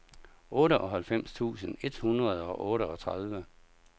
otteoghalvfems tusind et hundrede og otteogtredive